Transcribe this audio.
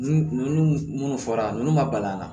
Nun munnu fɔra nunnu ma bal'an na